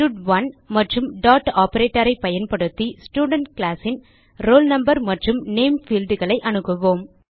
ஸ்டட்1 மற்றும் டாட் operatorஐ பயன்படுத்தி ஸ்டூடென்ட் கிளாஸ் ன் roll no மற்றும் நேம் fieldகளை அணுகுவோம்